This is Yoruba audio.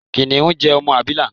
Kìnìún jẹ ọmọ abila.